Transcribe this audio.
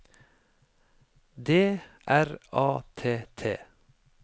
D R A T T